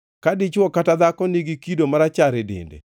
Ka dichwo kata dhako nigi kido marachar e dende,